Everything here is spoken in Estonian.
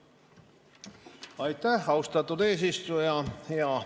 Aitäh, austatud eesistuja!